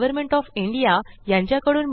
यासंबंधी माहिती पुढील साईटवर उपलब्ध आहे